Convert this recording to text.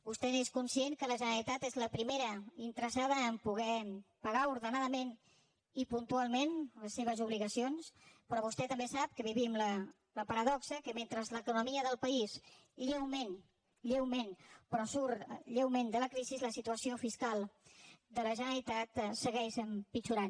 vostè és conscient que la generalitat és la primera interessada a poder pagar ordenadament i puntualment les seves obligacions però vostè també sap que vivim la paradoxa que mentre l’economia del país lleument lleument però surt de la crisi la situació fiscal de la generalitat segueix empitjorant